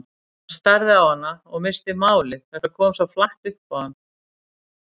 Hann starði á hana og missti málið, þetta kom svo flatt upp á hann.